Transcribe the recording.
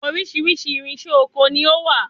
Oríṣiríṣi irinṣẹ́ ọkọ ni ó wà.